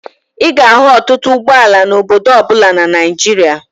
Ị ga-ahụ ọtụtụ ụgbọala n'obodo ọ bụla na Naịjịria.